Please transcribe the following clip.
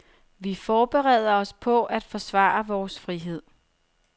Vi forbereder os på at forsvare vores frihed.